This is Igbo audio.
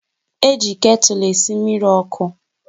Eji ketụlụ esi mmiri ọkụ